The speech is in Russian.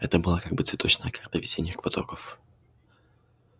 это была как бы цветочная карта весенних потоков